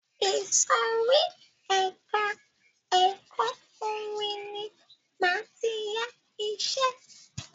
Ìsòrí ẹka ẹ̀kọ́ orin ní máa tí yá iṣẹ.